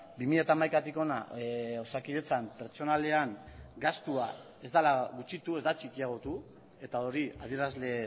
bi mila hamaikatik hona osakidetzan pertsonalean gastua ez dela gutxitu ez da txikiagotu eta hori adierazle